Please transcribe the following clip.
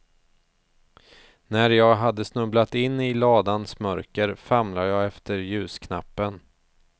När jag hade snubblat in i ladans mörker, famlade jag efter ljusknappen.